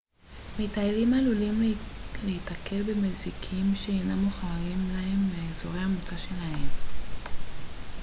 מטיילים עלולים להיתקל במזיקים שאינם מוכרים להם מאזורי המוצא שלהם